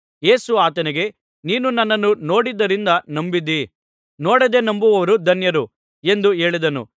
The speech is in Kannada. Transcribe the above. ಯೇಸು ಆತನಿಗೆ ನೀನು ನನ್ನನ್ನು ನೋಡಿದ್ದರಿಂದ ನಂಬಿದ್ದೀ ನೋಡದೆ ನಂಬಿದವರು ಧನ್ಯರು ಎಂದು ಹೇಳಿದನು